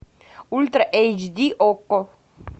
ультра эйч ди окко